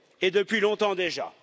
Et depuis longtemps déjà.